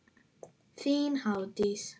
Þín Hafdís.